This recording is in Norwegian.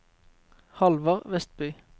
Halvard Westby